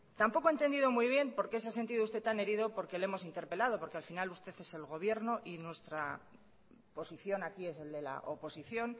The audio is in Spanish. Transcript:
tampoco he entendido muy bien por qué se ha sentido usted tan herido porque le hemos interpelado porque al final usted es el gobierno y nuestra posición aquí es el de la oposición